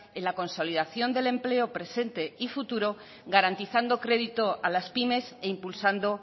en la consolidación del empleo presente y futuro garantizando crédito a las pymes e impulsando